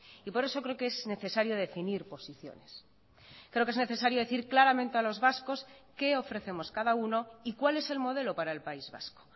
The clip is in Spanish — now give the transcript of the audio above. y por eso creo que es necesario definir posiciones creo que es necesario decir claramente a los vascos qué ofrecemos cada uno y cuál es el modelo para el país vasco